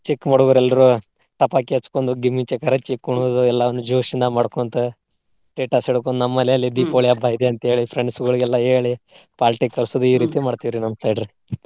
ಚಿಕ್ಕ ಹುಡ್ಗುರ್ ಎಲ್ರೂ ಪಟಾಕಿ ಹಚ್ಕೊಂಡು ಕುಣಿದು ಎಲ್ಲವನ್ನು josh ಇಂದ ಮಾಡ್ಕೊಂತ, ನಮ್ಮ ಮನೆಯಲ್ಲಿ ಹಬ್ಬ ಇದೆ ಅಂತ ಹೇಳಿ friends ಗೊಳಿಗೆಲ್ಲಾ ಹೇಳಿ party ಕರ್ಸೊದು ಮಾಡ್ತೇವ್ರಿ ನಮ್ಮ side ರಿ.